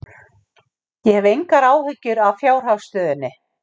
Ég hef engar áhyggjur af fjárhagsstöðunni.